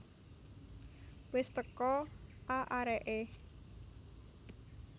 Wis teko a areke